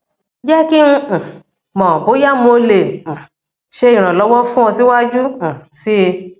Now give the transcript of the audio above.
jẹ ki n um mọ boya mo le um ṣe iranlọwọ fun ọ siwaju um sii